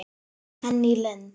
Henný Lind.